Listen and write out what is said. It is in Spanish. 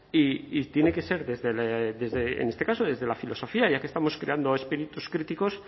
y tiene que ser desde en este caso desde la filosofía ya que estamos creando espíritus críticos